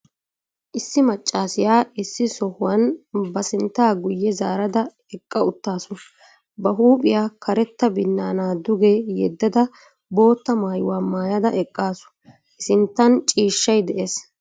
Issi maccassiya issi sohuwan ba sinttaa guye zaarada eqqa uttaasu, ba huuphphiya karetta binaanaa duge yedada boottaa maayuwa maayada eqaasu I sinttan ciishshay de'ees.